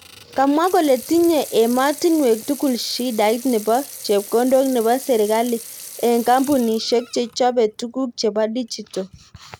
Kamwa kole tinye ematinuek tugul shidait nebo chepkondok nebo serikali eng kampunishek che chobe tuguk chebo digital